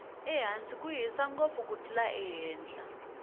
ehansi ku hisa ngopfu ku tlula ehenhla